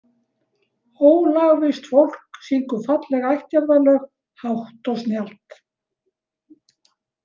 Ólagvisst fólk syngur falleg ættjarðarlög hátt og snjallt.